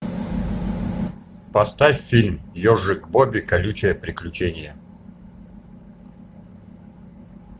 поставь фильм ежик бобби колючее приключение